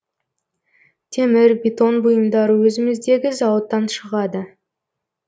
темір бетон бұйымдары өзіміздегі зауыттан шығады